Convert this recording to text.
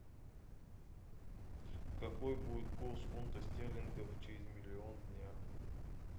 какой будет курс фунта стерлингов через миллион дня